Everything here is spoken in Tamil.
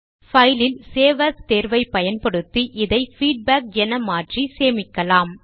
பைல் இல் சேவ் ஏஎஸ் தேர்வை பயன்படுத்தி இதை பீட்பேக் என மாற்றி சேமிக்கலாம்